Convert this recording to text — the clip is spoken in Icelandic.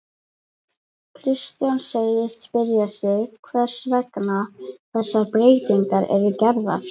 Kristján segist spyrja sig hvers vegna þessar breytingar eru gerðar?